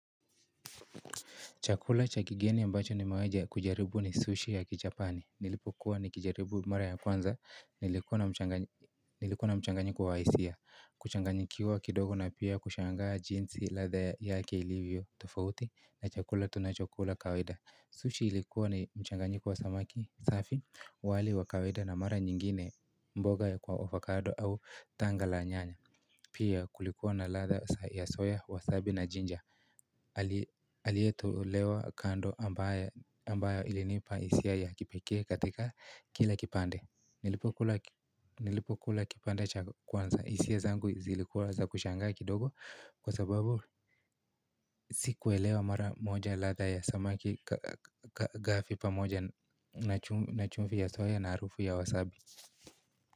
Chakula cha kigeni ambacho nimewai kkujaribu ni sushi ya kijapani. Nilipo kuwa ni kijaribu mara ya kwanza. Nilikuwa na mchanganyiko Nilikuwa na mchanganyiko wa hisia. Kuchanganyikiwa kidogo na pia kushangaa jinsi ladha yake ilivyo tofauti na chakula tunachokula kawaida. Sushi ilikuwa ni mchanganyiko wa samaki safi wali wa kawaida na mara nyingine mboga ya kwa ofakado au tanga la nyanya. Pia kulikuwa na ladha ya soya, wasabi na jinja. Aliyetolewa kando ambayo ilinipa hisia ya kipekee katika kila kipande Nilipokula kipande cha kwanza hisia zangu zilikuwa za kushangaa kidogo Kwa sababu sikuelewa mara moja ladha ya samaki gafi pamoja na chumfi ya soya na arufu ya wasabi.